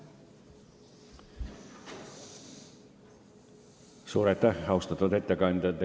Suur aitäh, austatud ettekandja!